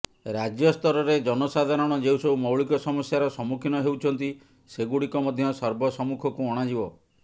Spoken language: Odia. ରାଜ୍ୟସ୍ତରରେ ଜନସାଧାରଣ ଯେଉଁସବୁ ମୌଳିକ ସମସ୍ୟାର ସମ୍ମୁଖୀନ ହେଉଛନ୍ତି ସେଗୁଡିକ ମଧ୍ୟ ସର୍ବସମ୍ମୁଖକୁ ଅଣାଯିବ